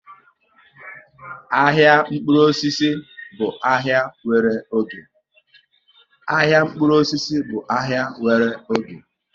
Ahịa mkpụrụ osisi bụ ahai nwere oge